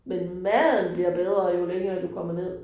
Men maden bliver bedre jo længere du kommer ned